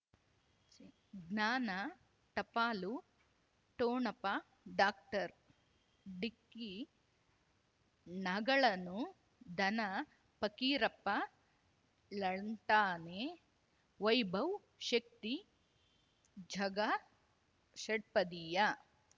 ಜ್ಞಾನ ಟಪಾಲು ಠೊಣಪ ಡಾಕ್ಟರ್ ಢಿಕ್ಕಿ ಣಗಳನು ಧನ ಫಕೀರಪ್ಪ ಳಂತಾನೆ ವೈಭವ್ ಶಕ್ತಿ ಝಗಾ ಷಟ್ಪದಿಯ